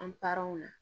An paranw na